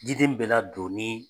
Diden bɛ ladoni